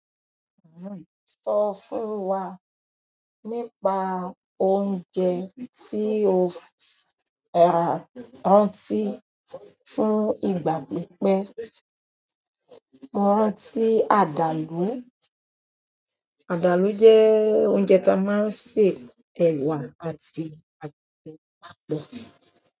Sọ fún wa nípa oúnjẹ tí o rántí fún ìgbà pípẹ́. Rántí àdàlú. Àdàlú jẹ́ oúnjẹ tí a máa ń sè ẹ̀wà àti àgbàdo papọ̀.